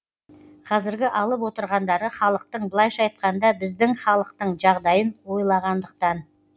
қазіргі алып отырғандары халықтың былайша айтқанда біздің халықтың жағдайын ойлағандықтан